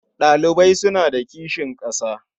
Ɗalibai suna da kishin ƙasa.